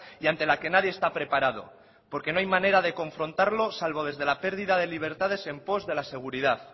y ante la que nadie está preparado porque no hay manera de confrontarlo salvo desde la pérdida de libertades en pos de la seguridad